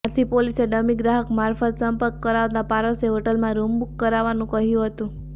આથી પોલીસે ડમી ગ્રાહક મારફત સંપર્ક કરાવાતા પારસે હોટલમાં રૂમ બુક કરાવાનું કહ્યું હતું